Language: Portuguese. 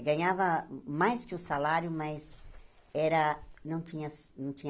Ganhava mais que o salário, mas era não tinha